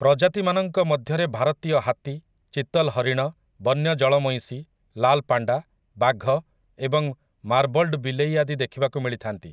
ପ୍ରଜାତିମାନଙ୍କ ମଧ୍ୟରେ ଭାରତୀୟ ହାତୀ, ଚିତଲ୍ ହରିଣ, ବନ୍ୟ ଜଳମଇଁଷି, ଲାଲ୍ ପାଣ୍ଡା, ବାଘ ଏବଂ ମାର୍ବଲ୍ଡ ବିଲେଇ ଆଦି ଦେଖିବାକୁ ମିଳିଥାନ୍ତି ।